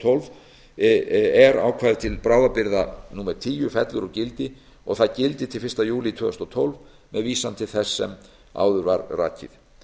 tólf er ákvæði til bráðabirgða tíu fellur úr gildi og að það gildi til fyrsta júlí tvö þúsund og tólf með vísan til þess sem áður er rakið